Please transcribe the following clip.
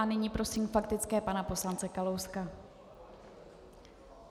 A nyní prosím faktická pana poslance Kalouska.